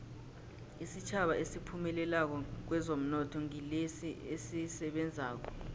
isitjhaba esiphumelelako kwezomnotho ngilesi esisebenzako